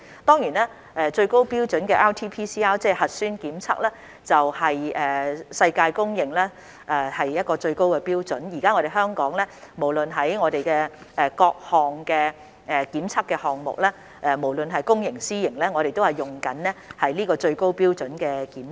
當然，最高標準的 RT-PCR 核酸檢測是世界公認的最高標準，現時香港的所有檢測項目，無論是公營或私營，皆採用這種最高標準的檢測。